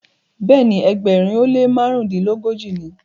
Béèni Egbèrin o le mérinlelogoji ní.